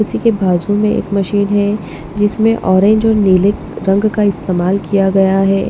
इसी के बाजू में एक मशीन है जिसमें ऑरेंज और नीले रंग का इस्तेमाल किया गया है।